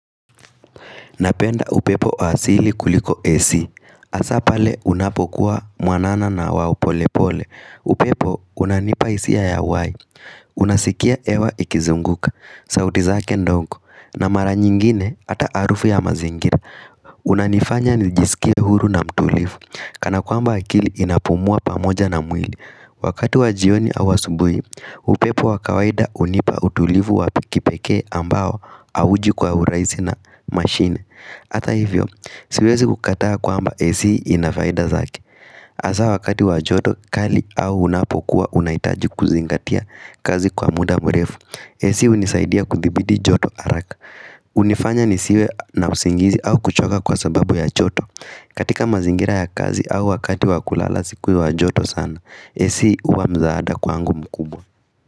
Napenda upepo asili kuliko Ac. Hasa pale unapokuwa mwanana na wa polepole. Upepo unanipa hisia ya uhai. Unasikia hewa ikizunguka. Sauti zake ndogo. Na mara nyingine ata harufu ya mazingira. Unanifanya nijisikie huru na mtulivu Kana kwamba akili inapumua pamoja na mwili Wakati wa jioni au asubuhi upepo wa kawaida hunipa utulivu wa kipekee ambao hauji kwa hurahisi na machine Hata hivyo, siwezi kukataa kwamba AC ina faida zake hasa wakati wa joto kali au unapokuwa unahitaji kuzingatia kazi kwa muda mrefu AC hunisaidia kudhibiti joto haraka hunifanya nisiwe na usingizi au kuchoka kwa sababu ya joto katika mazingira ya kazi au wakati wa kulala si kuwa joto sana AC huwa msaada kwangu mkubwa.